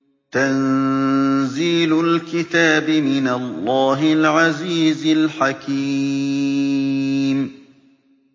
تَنزِيلُ الْكِتَابِ مِنَ اللَّهِ الْعَزِيزِ الْحَكِيمِ